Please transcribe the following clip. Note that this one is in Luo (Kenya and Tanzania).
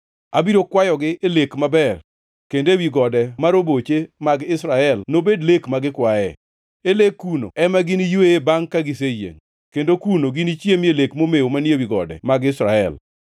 Abiro kwayogi e lek maber, kendo ewi gode ma roboche mag Israel nobed lek ma gikwaye. E lek kuno ema giniyweye bangʼ ka giseyiengʼ, kendo kuno ginichiemie lek momew manie ewi gode mag Israel.